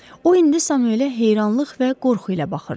O indi Samuele heyranlıq və qorxu ilə baxırdı.